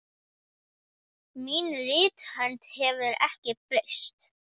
Mín rithönd hefur ekki breyst.